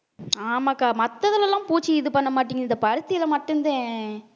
ஆமாக்கா மத்ததுல எல்லாம் பூச்சி இது பண்ண மாட்டேங்குது இந்த பருத்தியில மட்டும்தான்